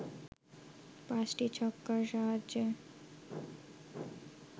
পাঁচটি ছক্কার সাহায্যে